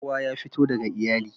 Kowa ya fito daga iyali.